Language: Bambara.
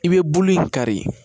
I bɛ bulu kari